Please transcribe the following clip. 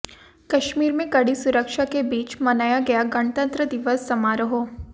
कश्मीर में कड़ी सुरक्षा के बीच मनाया गया गणतंत्र दिवस समारोह